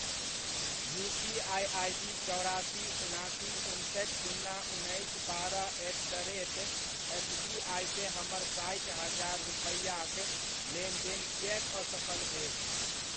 UPI ID चौरासी, उनासी, उनसठि, सुन्ना, उन्नैस, बारह at the rate S B I केँ हमर साठि हजार रूपैआक लेनदेन किएक असफल भेल?